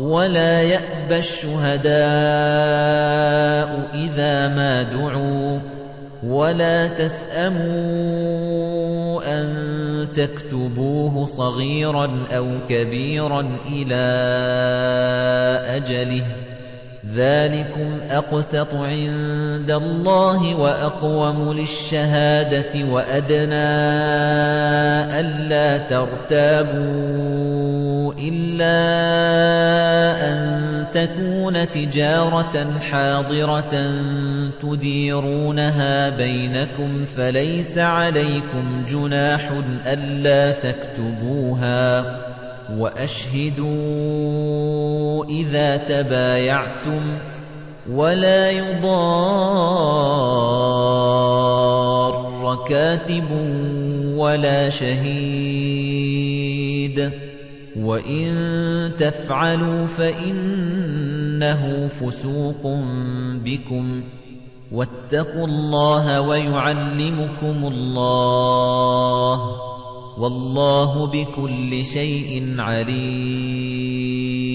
وَلَا يَأْبَ الشُّهَدَاءُ إِذَا مَا دُعُوا ۚ وَلَا تَسْأَمُوا أَن تَكْتُبُوهُ صَغِيرًا أَوْ كَبِيرًا إِلَىٰ أَجَلِهِ ۚ ذَٰلِكُمْ أَقْسَطُ عِندَ اللَّهِ وَأَقْوَمُ لِلشَّهَادَةِ وَأَدْنَىٰ أَلَّا تَرْتَابُوا ۖ إِلَّا أَن تَكُونَ تِجَارَةً حَاضِرَةً تُدِيرُونَهَا بَيْنَكُمْ فَلَيْسَ عَلَيْكُمْ جُنَاحٌ أَلَّا تَكْتُبُوهَا ۗ وَأَشْهِدُوا إِذَا تَبَايَعْتُمْ ۚ وَلَا يُضَارَّ كَاتِبٌ وَلَا شَهِيدٌ ۚ وَإِن تَفْعَلُوا فَإِنَّهُ فُسُوقٌ بِكُمْ ۗ وَاتَّقُوا اللَّهَ ۖ وَيُعَلِّمُكُمُ اللَّهُ ۗ وَاللَّهُ بِكُلِّ شَيْءٍ عَلِيمٌ